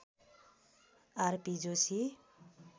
RP Joshi